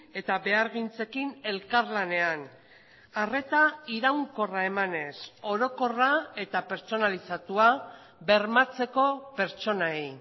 eta behargintzekin elkarlanean arreta iraunkorra emanez orokorra eta pertsonalizatua bermatzeko pertsonei